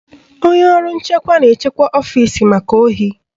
Onye ọrụ nchekwa na-echekwa ọfisi maka ohi